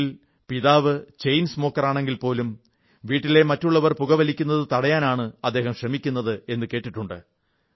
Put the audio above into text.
വീട്ടിൽ പിതാവ് ചെയിൻ സ്മോക്കറാണെങ്കിൽപോലും വീട്ടിലെ മറ്റുള്ളവർ പുക വലിക്കുന്നത് തടയാനാണ് അദ്ദേഹം ശ്രമിക്കുന്നത് എന്നു കണ്ടിട്ടുണ്ട്